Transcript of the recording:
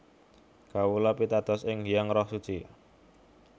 Kawula pitados ing Hyang Roh Suci